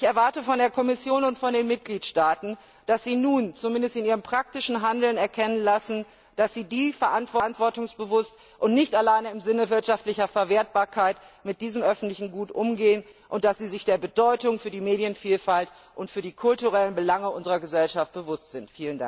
Ich erwarte von der Kommission und von den Mitgliedstaaten, dass sie nun zumindest in ihrem praktischen Handeln erkennen lassen, dass sie verantwortungsbewusst und nicht alleine im Sinne wirtschaftlicher Verwertbarkeit mit diesem öffentlichen Gut umgehen und dass sie sich der Bedeutung für die Medienvielfalt und für die kulturellen Belange unserer Gesellschaft bewusst sind.